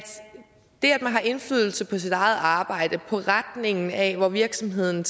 man har indflydelse på sit arbejde på retningen af hvor virksomheden